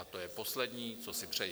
A to je poslední, co si přeji.